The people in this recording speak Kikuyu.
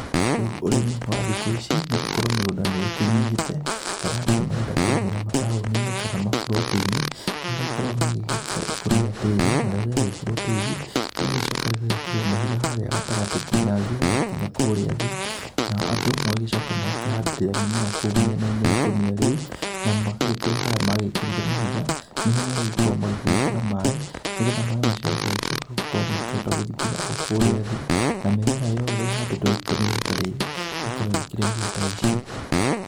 Rĩu ũrĩmi wa thikũ ici nĩ gũkorwo mĩgũnda nĩ ĩkĩnyĩhĩte, kana andũ nĩ marenda kũrĩmĩra mataũninĩ kana maburotinĩ nĩ magĩkoragwo magĩgĩkĩra ikũnia tĩĩri. Narĩo rĩagĩkĩrwo tĩĩri, rĩgagĩcoka rĩgekĩrwo mahiga harĩa gatagatĩ kinya maĩ magakinya kũrĩa thĩ nao andũ magagĩcoka magakĩhandĩrĩra mĩmera kũu mĩenainĩ ya ikũnia rĩu, na magagĩkorwo harĩa magĩkĩrire mahiga nĩho marĩgĩkorwo magĩgĩkĩra maĩ nĩ getha maĩ macio magagĩcoka magĩkorwo magĩgĩthiĩ kinya kũrĩa thĩ na mĩmera yothe ĩhandĩtwo ikũnia-inĩ ta rĩrĩ ĩkorwo ĩgĩkĩra irio ta ici.